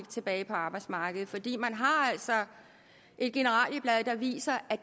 tilbage på arbejdsmarkedet fordi man altså har et generalieblad der viser at